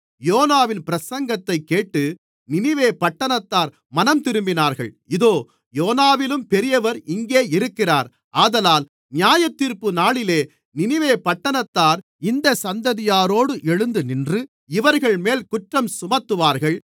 யோனாவின் பிரசங்கத்தைக் கேட்டு நினிவே பட்டணத்தார் மனந்திரும்பினார்கள் இதோ யோனாவிலும் பெரியவர் இங்கே இருக்கிறார் ஆதலால் நியாயத்தீர்ப்புநாளிலே நினிவே பட்டணத்தார் இந்தச் சந்ததியாரோடு எழுந்து நின்று இவர்கள்மேல் குற்றஞ்சுமத்துவார்கள்